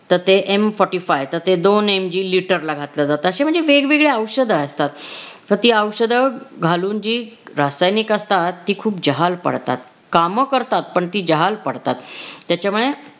तर ते m forty five तर ते दोन MG लीटरला घातलं जात. असे म्हणजे वेगवेगळे औषध असतात तर ती औषध घालून जी रासायनिक असतात ती खूप जहाल पडतात. काम करतात पण ती जहाल पडतात त्याच्यामुळे